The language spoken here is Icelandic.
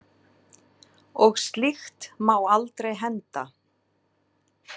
Og slíkt má aldrei henda.